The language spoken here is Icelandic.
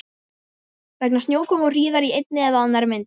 Vegna snjókomu og hríðar í einni eða annarri mynd.